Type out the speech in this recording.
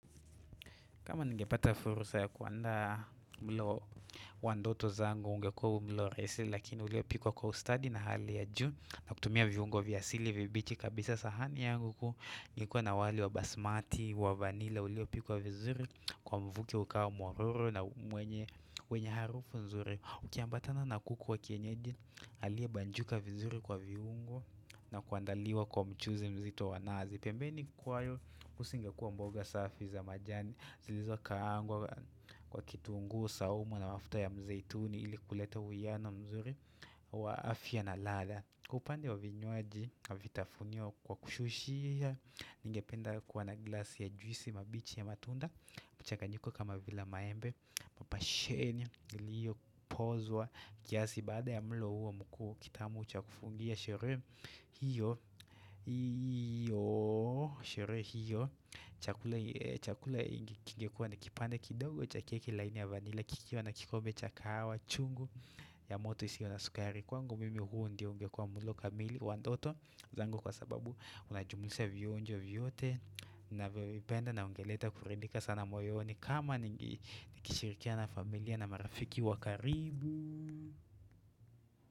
Kama ningepata fursa ya kuandaa mlo wa ndoto zangu ungekuwa mlo rahisi lakini ulio pikwa kwa ustadi na hali ya juu na kutumia viungo vya asili vibichi kabisa sahani yangu ku nikuwa na wali wa basmati wa vanila ulio pikwa vizuri kwa mvuki ukawa mororo na mwenye harufu nzuri. Ukiambatana na kuku wa kienyeji aliye banjuka vizuri kwa viungo na kuandaliwa kwa mchuzi mzito wa nazi pembeni kwayo kusinge kuwa mboga safi za majani zilizo kaangwa kwa kitungu, saumu na mafuta ya mzeituni ili kuleta uwiano mzuri wa afya na ladha Kupande wa vinywaji na vitafunio kwa kushushia Ningependa kuwa na glasi ya juisi mabichi ya matunda mchanganyuko kama vila maembe Papa shenyo niliyo pozwa kiasi baada ya mlo huo mkuu kitamu cha kufungia shere hiyo hiyo Shere hiyo chakula Chakula kingekuwa ni kipande kidogo cha keki laini ya vanila kikiwa na kikombe cha kahawa chungu ya moto iso na sukari Kwangu mimi huo ndio ungekua mlo kamili wa ndoto zango kwa sababu Unajumulisa vionjo vyote Navyovipenda na ungeleta kurindika sana moyoni kama nikishirikia na familia na marafiki wakaribu.